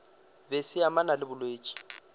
be se amana le bolwetši